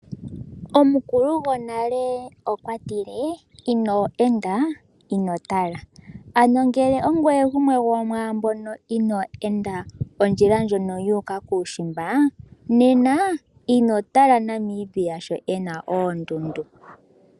Omukulu gonale okwa tile: ino enda, ino tala. Ano ngele ongweye gumwe gomwaambono inaaya enda ondjila ndjono yu uka kuushimba, nena ino tala Namibia sho e na oondundu.